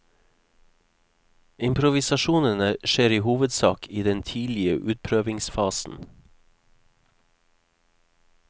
Improvisasjonene skjer i hovedsak i den tidlige utprøvingsfasen.